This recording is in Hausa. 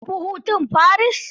Ka tafi hutun Paris.